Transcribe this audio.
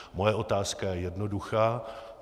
Moje otázka je jednoduchá.